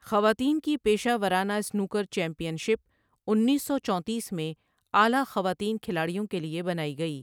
خواتین کی پیشہ ورانہ سنوکر چیمپئن شپ انیس سو چونتیس میں اعلیٰ خواتین کھلاڑیوں کے لیے بنائی گئی۔